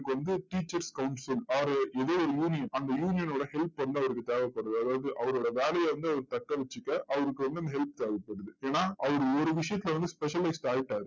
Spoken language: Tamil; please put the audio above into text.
அவருக்கு வந்து teachers council அவரு, எதோ ஒரு union அந்த union ஓட help வந்து அவருக்கு தேவைப்படுது. அதாவது அவரோட வேலையை வந்து அவர் தக்க வச்சிக்க, அவருக்கு வந்து அந்த help தேவைப்படுது. ஏன்னா அவர் ஒரு விஷயத்துல வந்து specialist ஆயிட்டாரு.